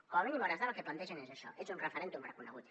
com a mínim a hores d’ara el que plantegen és això és un referèndum reconegut